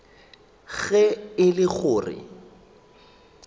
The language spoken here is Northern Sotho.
ge e le go re